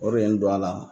O de ye n don a la